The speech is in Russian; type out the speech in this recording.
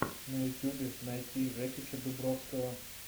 на ютубе найти жекича дубровского